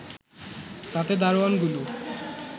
তাতে দারোয়ানগুলো